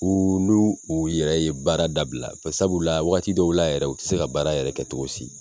U n'u u yɛrɛ ye baara dabila sabu la wakati dɔw la yɛrɛ, u ti se ka baara yɛrɛ kɛ togo si.